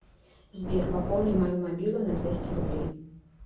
сбер пополни мою мобилу на двести рублей